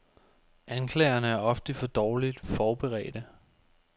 Anklagerne er ofte for dårligt forberedte.